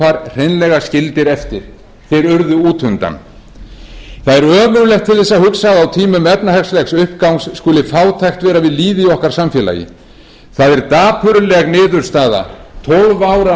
hreinlega skildir eftir þeir urðu út undan það er ömurlegt til þess að hugsa að á tímum efnahagslegs uppgangs skuli fátækt vera við lýði í okkar samfélagi það er dapurleg niðurstaða tólf ára